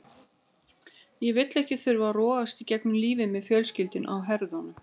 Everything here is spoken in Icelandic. Ég vil ekki þurfa að rogast gegnum lífið með fjölskylduna á herðunum.